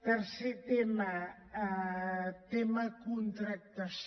tercer tema tema contractació